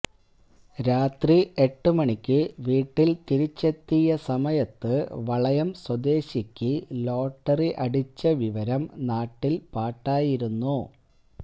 രാത്രി എട്ട് മണിക്ക് വീട്ടിൽ തിരിച്ചെത്തിയ സമയത്ത് വളയം സ്വദേശിക്ക് ലോട്ടറി അടിച്ച വിവരം നാട്ടിൽ പാട്ടായിരുന്നു